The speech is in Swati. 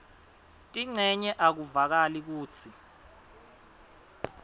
tincenye akuvakali kutsi